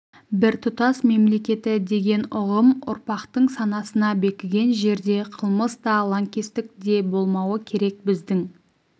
біртұтас мемлекеті деген ұғым ұрпақтың санасына бекіген жерде қылмыс та лаңкестік де болмауы керек біздің